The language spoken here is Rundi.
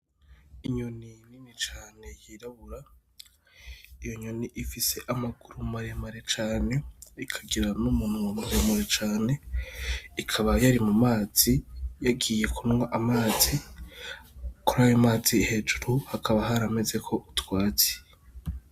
Inyoni nini cane yirabura iyo nyoni ifise amaguru maremare cane ikagira n'umunwa muremure cane ikaba yari mu mazi yagiye kunwa amazi kuri ayo mazi hejuru hakaba haramezeko utwatsi.